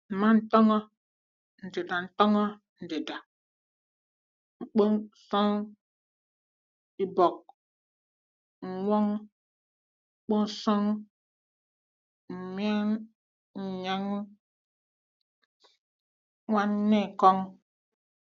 Mma ntọn̄ọ ndida ntọn̄ọ ndida n̄kpọsọn̄ ibọk, n̄n̄wọn̄ ọkpọsọn̄ mmịn, nnyụn̄ n̄n̄wana ekọn̄.